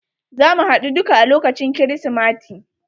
Zamu haɗu duka a lokacin krismati.